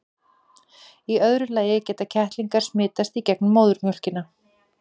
í öðru lagi geta kettlingar smitast í gegnum móðurmjólkina